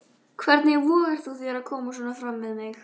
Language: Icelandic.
Hvernig vogarðu þér að koma svona fram við mig!